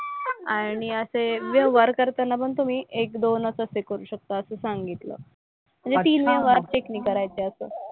आणि असे व्यवहार करताना पण तुम्ही एक दोन असंच हे करू शकता असं सांगितलं. म्हणजे तीन व्यवहार ते नाही करायचं असं.